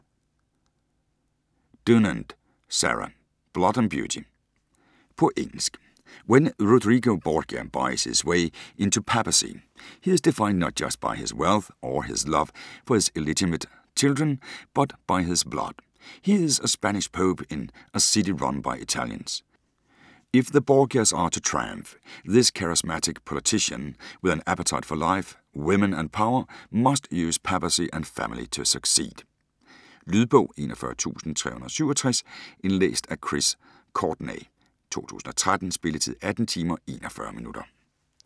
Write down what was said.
Dunant, Sarah: Blood & beauty På engelsk. When Rodrigo Borgia buys his way into the papacy, he is defined not just by his wealth or his love for his illegitimate children, but by his blood: he is a Spanish Pope in a city run by Italians. If the Borgias are to triumph, this charismatic politician with an appetite for life, women and power must use papacy and family to succeed. Lydbog 41367 Indlæst af Chris Courtenay, 2013. Spilletid: 18 timer, 41 minutter.